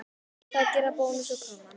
Hvað gera Bónus og Krónan?